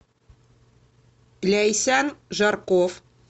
ляйсян жарков